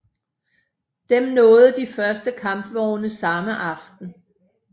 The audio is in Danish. Dem nåede de første kampvogne samme aften